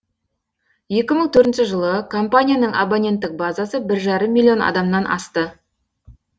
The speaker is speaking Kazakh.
екі мың төртінші жылы компанияның абоненттік базасы бір жарым миллион адамнан асты